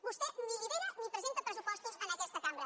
vostè ni lidera ni presenta pressupostos en aquesta cambra